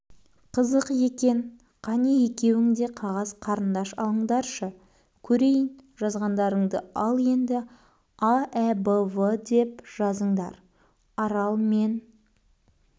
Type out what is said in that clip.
қызық екен қане екеуің де қағаз қарындаш алыңдаршы көрейін жазғаңдарыңды ал енді аәбвдеп жазыңдар арал мен